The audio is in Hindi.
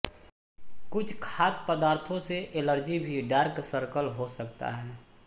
कुछ खाद्य पदार्थों से एलर्जी भी डार्क सर्कल हो सकता है